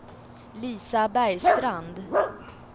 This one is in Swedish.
Lisa Bergstrand